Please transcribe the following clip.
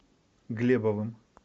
глебовым